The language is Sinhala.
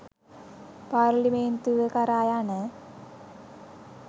පාර්ලිමේන්තුව කරා යන